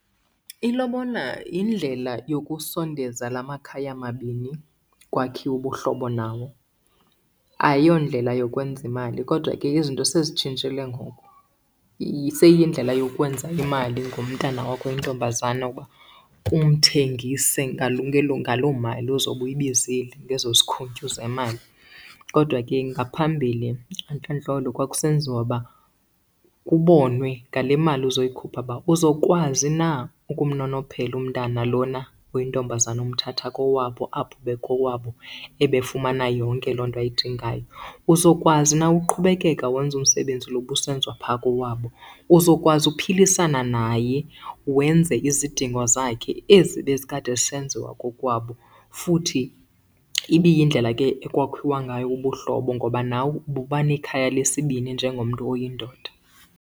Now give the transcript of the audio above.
Ilobola yindlela yokusondeza la makhaya mabini kwakhiwe ubuhlobo nawo. Ayiyondlela yokwenza imali kodwa ke izinto sezitshintshile ngoku. Seyiyindlela yokwenza imali ngomntana wakho oyintombazana ukuba umthengise ngaloo mali ozobe uyibizile ngezo zikhuntyu zemali. Kodwa ke ngaphambili entlandlolo kwakusenziwa uba kubonwe ngale mali uzoyikhupha uba uzokwazi na ukumnonophela umntana lona uyintombazana umthatha kowabo apho bekowabo ebefumana yonke loo nto ayidingayo. Uzokwazi na uqhubekeka wenze umsebenzi lo busenziwa phaa kowabo. Uzokwazi ukuphilisana naye wenze izidingo zakhe ezi bezikade zisenziwa kokwabo. Futhi ibiyindlela ke ekwakhiwa ngayo ubuhlobo ngoba nawe buba nekhaya lesibini njengomntu oyindoda.